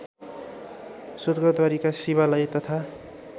स्वर्गद्वारीका शिवालय तथा